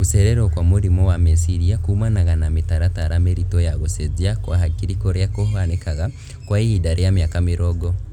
Gũcererwo kwa mũrimũ wa meciria kumanaga na mĩtaratara mĩritũ ya gũcenjia kwa hakiri kũrĩa kũhanĩkaga kwa ihinda rĩa mĩaka mĩrongo